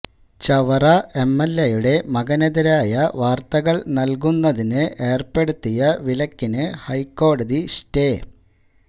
ചവറ എംഎൽഎയുടെ മകനെതിരായ വാർത്തകൾ നൽകുന്നതിന് ഏർപ്പെടുത്തിയ വിലക്കിന് ഹൈക്കോടതി സ്റ്റേ